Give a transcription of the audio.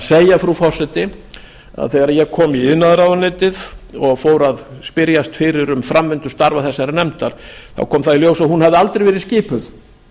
segja frú forseti að þegar ég kom í iðnaðarráðuneytið og fór að spyrjast fyrir um framvindu starfa þessarar nefndar þá kom það í ljós að hún hafði aldrei verið skipuð